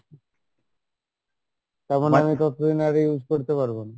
তারমানে আমি ততদিন আর use করতে পারবো না